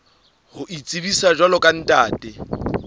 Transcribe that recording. ho itsebisa jwalo ka ntate